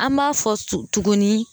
An b'a fɔ tuguni